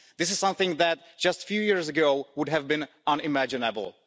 This is something that just a few years ago would have been unimaginable.